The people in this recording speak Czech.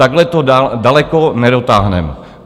Takhle to daleko nedotáhneme.